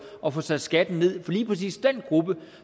at få sat skatten ned for lige præcis den gruppe